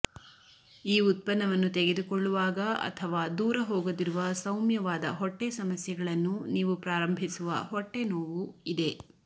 ಈ ಉತ್ಪನ್ನವನ್ನು ತೆಗೆದುಕೊಳ್ಳುವಾಗ ಅಥವಾ ದೂರ ಹೋಗದಿರುವ ಸೌಮ್ಯವಾದ ಹೊಟ್ಟೆ ಸಮಸ್ಯೆಗಳನ್ನು ನೀವು ಪ್ರಾರಂಭಿಸುವ ಹೊಟ್ಟೆ ನೋವು ಇದೆ